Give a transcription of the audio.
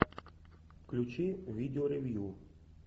включи видео ревью